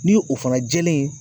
Ni o fana jɛlen